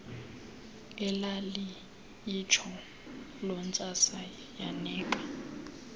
elaliyitsho lontsasa yanika